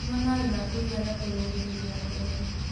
Nyua mae ma kũĩgana kũrũngĩrĩrĩa ngothĩ